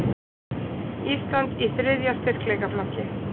Ísland í þriðja styrkleikaflokki